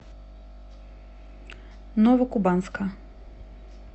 новокубанска